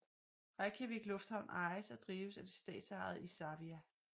Reykjavík Lufthavn ejes og drives af det statsejede Isavia